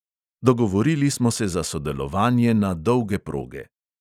Dogovorili smo se za sodelovanje na "dolge proge".